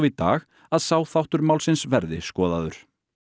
í dag að sá þáttur málsins verði skoðaður